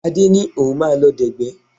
Adé ní òun máa lọ dẹ̀gbẹ́